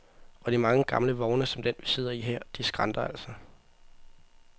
Og de mange gamle vogne som den, vi sidder i her, de skranter altså.